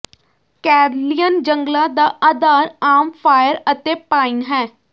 Karelian ਜੰਗਲਾਂ ਦਾ ਆਧਾਰ ਆਮ ਫਾਈਰ ਅਤੇ ਪਾਈਨ ਹੈ